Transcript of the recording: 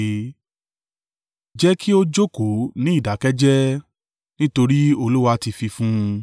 Jẹ́ kí ó jókòó ní ìdákẹ́ jẹ́ẹ́, nítorí Olúwa ti fi fún un.